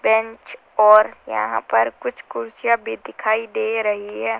Bench और यहां पर कुछ कुर्सियां भी दिखाई दे रही हैं।